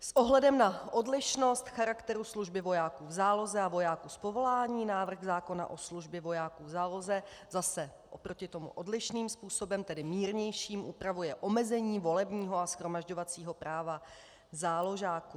S ohledem na odlišnost charakteru služby vojáků v záloze a vojáků z povolání návrh zákona o službě vojáků v záloze zase oproti tomu odlišným způsobem, tedy mírnějším, upravuje omezení volebního a shromažďovacího práva záložáků.